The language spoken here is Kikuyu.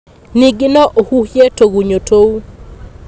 Ningĩ no ũhuhie tũgunyũ tũu.